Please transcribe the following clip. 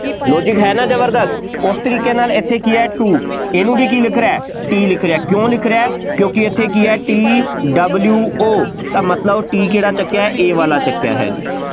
logic ਹੈ ਨਾ ਜ਼ਬਰਦਸਤ, ਉਸ ਤਰੀਕੇ ਨਾਲ ਇੱਥੇ ਕੀ ਹੈ, two ਇਹਨੂੰ ਵੀ ਕੀ ਲਿਖ ਰਿਹਾ ਹੈ, T ਲਿਖ ਰਿਹਾ ਹੈ, ਕਿਉਂ ਲਿਖ ਰਿਹਾ ਹੈ, ਕਿਉਂਕਿ ਇੱਥੇ ਕੀ ਹੈ T W O ਤਾਂ ਮਤਲਬ T ਕਿਹੜਾ ਚੁੱਕਿਆ ਹੈ, ਇਹ ਵਾਲਾ ਚੁੱਕਿਆ ਹੈ ਜੀ,